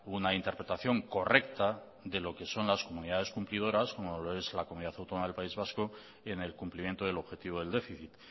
una interpretación correcta de lo que son las comunidades cumplidoras como lo es la comunidad autónoma del país vasco y en el cumplimiento del objetivo del déficit